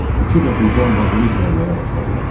Üçü də birdən vaqonu itələməyə başladılar.